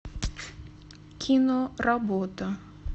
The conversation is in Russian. кино работа